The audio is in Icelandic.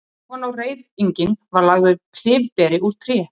Ofan á reiðinginn var lagður klyfberi úr tré.